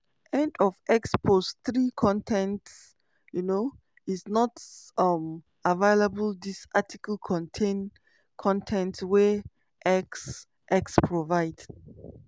end of x post 3 con ten t um is not um available dis article contain con ten t wey x x provide.